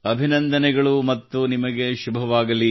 ಅಭಿನಂದನೆಗಳು ಮತ್ತು ನಿಮಗೆ ಶುಭವಾಗಲಿ